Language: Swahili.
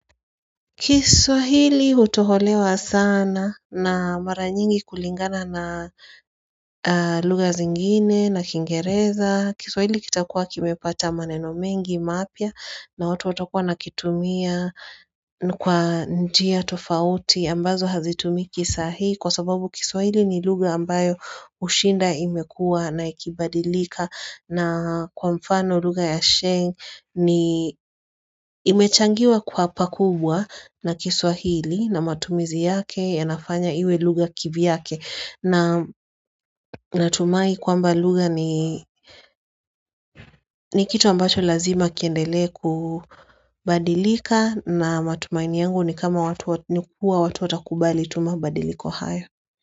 Kiswahili utoholewa sana na mara nyingi kulingana na lugha zingine na kingereza kiswahili kitakuwa kimepata maneno mengi mapya na watu watakuwa wana kitumia kwa njia tofauti ambazo hazitumiki saahii Kwa sababu kiswahili ni lugha ambayo hushinda imekua na ikibadilika na kwa mfano lugha ya sheng ni imechangiwa kwa pa kubwa na kiswahili na matumizi yake ya nafanya iwe lugha kivyake na tumai kwamba lugha ni ni kitu ambacho lazima kiendelee kubadilika na matumaini yangu ni kama watu watakubali tu mabadiliko haya.